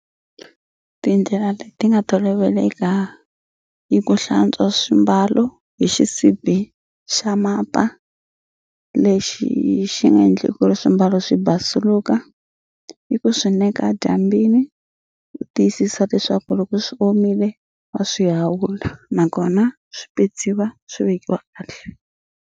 Tindlela leti nga toloveleka i ku hlantswa swimbalo hi xisibi xa mapa lexi xi nga endli ku ri swimbalo swi basuluka ni ku swi eka dyambini u tiyisisa leswaku loko swi omile wa swi hawula nakona swi petsiwa swi vekiwa kahle.